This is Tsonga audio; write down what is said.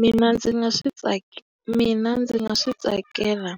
Mina ndzi nga swi mina ndzi nga swi tsakela